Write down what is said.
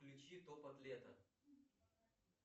включи топот лета